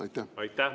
Aitäh!